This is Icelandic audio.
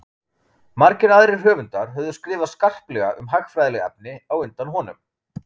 margir aðrir höfundar höfðu skrifað skarplega um hagfræðileg efni á undan honum